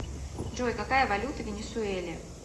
джой какая валюта в венесуэле